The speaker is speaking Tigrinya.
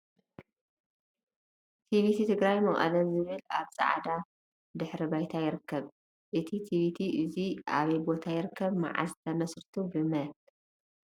ቲቪቲ ትግራይ መቀለ ዝብል ኣብ ፃዕዳ ድሕረ ባይታ ይርከብ ። እዚ ትቪቲ ኣዙይ ኣበይ ቦታ ይርከብ መዓዘ ተመስሪቱ ብ መን ?